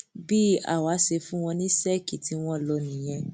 bí àwa ṣe fún wọn ní sẹẹkì tí wọn lò nìyẹn